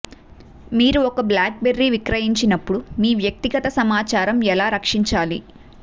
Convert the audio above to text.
మీరు ఒక బ్లాక్బెర్రీ విక్రయించినప్పుడు మీ వ్యక్తిగత సమాచారం ఎలా రక్షించాలి